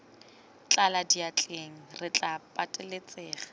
tlala diatleng re tla pateletsega